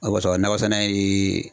O kosɔn nakɔ sɛnɛ ye